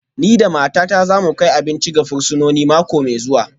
Ni da matata za mu kai abinci ga fursunoni mako mai zuwa